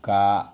Ka